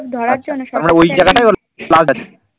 আচ্ছা তারমানে ওই জায়গায়টাই ওর